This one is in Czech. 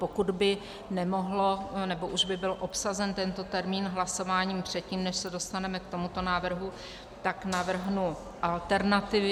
Pokud by nemohlo - nebo už by byl obsazen tento termín hlasováním předtím, než se dostaneme k tomuto návrhu, tak navrhnu alternativy.